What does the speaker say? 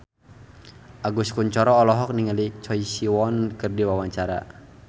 Agus Kuncoro olohok ningali Choi Siwon keur diwawancara